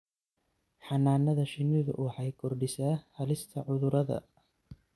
Xannaanada shinnidu waxay kordhisaa halista cudurada.